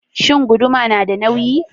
Shin guduma nada nauyi?